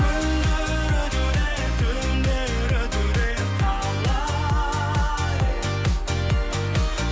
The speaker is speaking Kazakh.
күндер өтуде түндер өтуде талай